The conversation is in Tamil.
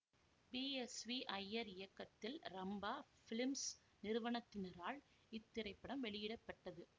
பி எஸ் வி ஜயர் இயக்கத்தில் ரம்பா பிலிம்ஸ் நிறுவனத்தினரால் இத்திரைப்படம் வெளியிடப்பெற்றது